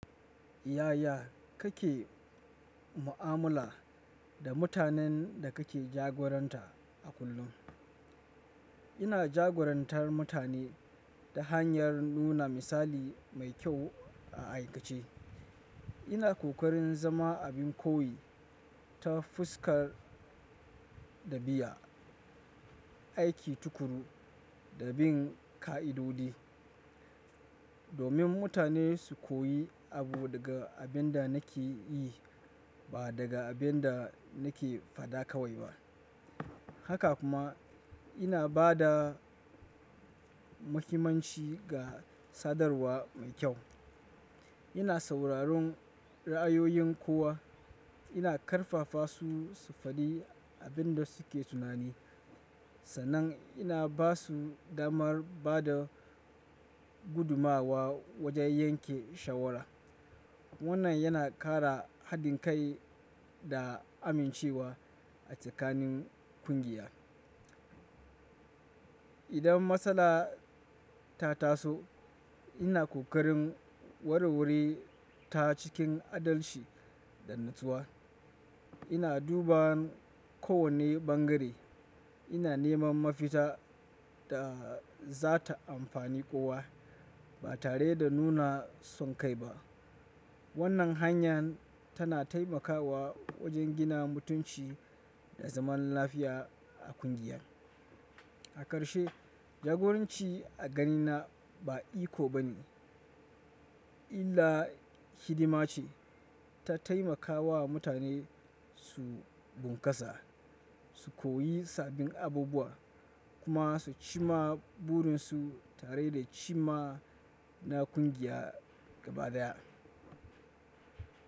Yaya kake mu'amala da mutanen da kake jagoranta a kullum? Ina jagorantar mutane ta hanyar nuna misali mai kyau a aikace. Ina ƙoƙarin zama abin koyi ta fuskar ɗabi'a, aiki tukuru, da bin ƙa'idodi, domin mutane su koyi abu daga abinda nakeyi ba daga abinda nake fada kawai ba haka kuma ina bada muhimmanci ga sadarwa mai kyau. Ina sauraron ra'ayoyin kowa, ina ƙarfafa su su faɗi abin da suke tunani, sannan ina ba su damar ba da gudummawa wajen yanke shawara. Wannan yana kara hadin kai da amincewa a tsakanin kungiya idan matsala ta taso ina kokarin warwareta cikin adalchi da natsuwa ina duba kowane bangare, ina neman mafita da za ta amfani kowa, ba tare da nuna son kai ba. Wannan hanya tana taimakawa wajen gina mutunci da zaman lafiya a ƙungiya. A ƙarshe, jagoranci a ganina ba iko bane, illa hidima ce. Ta taimakawa mutane su bunƙasa, su koyi sabbin abubuwa, kuma su ci ma burinsu tare da ci ma na ƙungiya gaba daya.